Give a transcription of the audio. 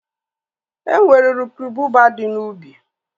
E nwere uru ububa dị n'ubi